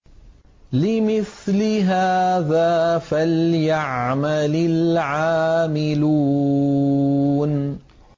لِمِثْلِ هَٰذَا فَلْيَعْمَلِ الْعَامِلُونَ